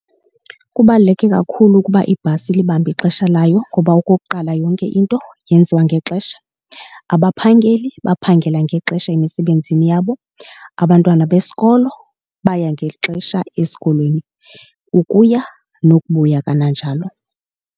Kubaluleke kakhulu ukuba ibhasi ilibambe ixesha layo ngoba okokuqala yonke into yenziwa ngexesha. Abaphangeli baphangela ngexesha emisebenzini yabo, abantwana besikolo baya ngexesha esikolweni ukuya nokubuya kananjalo.